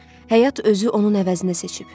Həyat özü onun əvəzinə seçib.